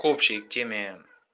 к общей теме